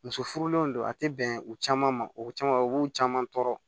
Muso furulenw don a tɛ bɛn u caman ma u caman u b'u caman tɔɔrɔ